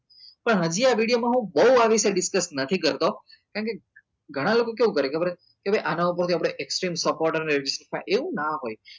પણ હજી આ video માં હું બઉ આ વિશે હું discuss નથી કરતો કારણ કે ગણા લોકો કેવું કરે ખબર હે કે ભાઈ આના ઉપર થી આપડે supporter મેળવી શકાય એવું નાં હોય